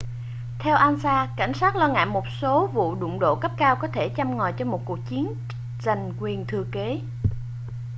theo ansa cảnh sát lo ngại một số vụ đụng độ cấp cao có thể châm ngòi cho một cuộc chiến giành quyền thừa kế